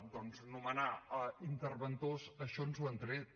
doncs nomenar interventors això ens ho han tret